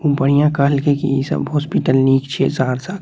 ऊ बढ़िया कहल के कि इ सब हॉस्पिटल निक छै सहरसा के ।